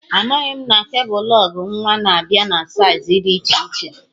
Amaghị m na kebul lụg nwa na-abịa na saiz dị iche iche